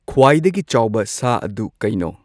ꯈ꯭ꯋꯥꯏꯗꯒꯤ ꯆꯥꯎꯕ ꯁꯥ ꯑꯗꯨ ꯀꯩꯅꯣ꯫